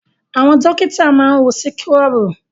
Àwọn dọ́kítà máa ń wọ síkúrọ̀bù.